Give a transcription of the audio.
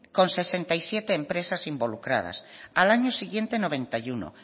con sesenta y siete empresas involucradas al año siguiente noventa y uno